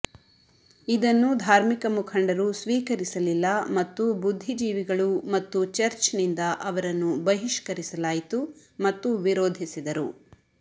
ಇದನ್ನು ಧಾರ್ಮಿಕ ಮುಖಂಡರು ಸ್ವೀಕರಿಸಲಿಲ್ಲ ಮತ್ತು ಬುದ್ಧಿಜೀವಿಗಳು ಮತ್ತು ಚರ್ಚ್ನಿಂದ ಅವರನ್ನು ಬಹಿಷ್ಕರಿಸಲಾಯಿತು ಮತ್ತು ವಿರೋಧಿಸಿದರು